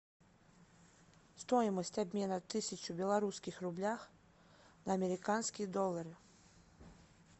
стоимость обмена тысяча белорусских рублях на американские доллары